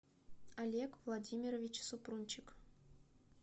олег владимирович супрунчик